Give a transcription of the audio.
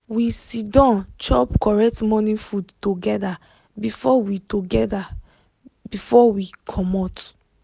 we siddon chop correct morning food together before we together before we comot.